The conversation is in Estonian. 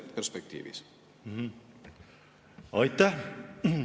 Aitäh!